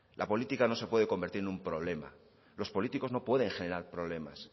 la política no se pueda convertir en un problema los políticos no pueden generar problemas